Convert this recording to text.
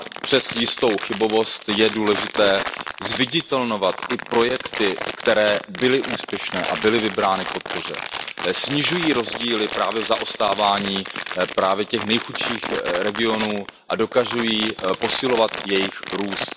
přes jistou chybovost je důležité zviditelňovat i projekty, které byly úspěšné a byly vybrány k podpoře, snižují rozdíly právě v zaostávání těch nejchudších regionů a dokazují posilovat jejich růst.